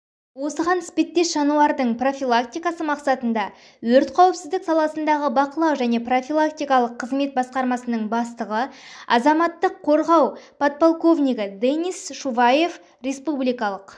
осыған іспеттес жанулардың профилактикасы мақсатында өрт қауіпсіздік саласындағы бақылау және профилактикалық қызмет басқармасының бастығы азаматтық қорғау подполковнигі денис шуваев республикалық